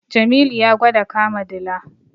Jamilu ya gwada kama dila.